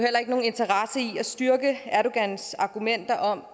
at styrke erdogans argumenter om